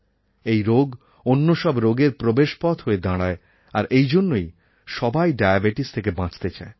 এই রোগ অন্য সব রোগের প্রবেশপথ হয়ে দাঁড়ায় আর এইজন্যই সবাই ডায়াবেটিস থেকে বাঁচতে চায়